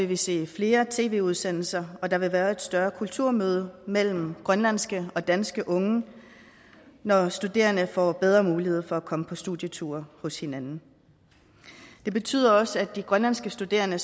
vil se flere tv udsendelser og at der vil være et større kulturmøde mellem grønlandske og danske unge når studerende får bedre mulighed for at komme på studieture hos hinanden det betyder også at de grønlandske studerende